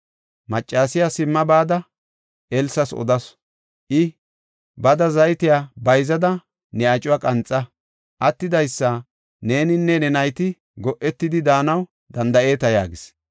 Maccasiya simma bada Elsas odasu. I, “Bada zaytiya bayzada, ne acuwa qanxa. Attidaysa neeninne ne nayti go7etidi daanaw danda7eeta” yaagis.